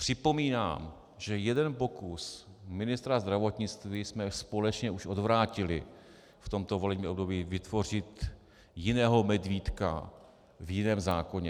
Připomínám, že jeden pokus ministra zdravotnictví jsme společně už odvrátili v tomto volebním období - vytvořit jiného medvídka v jiném zákoně.